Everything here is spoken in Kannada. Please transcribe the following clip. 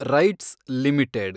rights limited